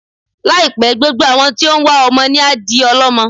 Láì pẹ́, gbogbo àwọn tí ó wá ọmọ ni á di ọl'ọ́mọ